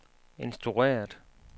instrueret